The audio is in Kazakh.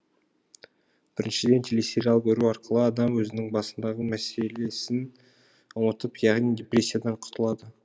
біріншіден телесериал көру арқылы адам өзінің басындағы мәселесін ұмытып яғни деппресиядан құтылады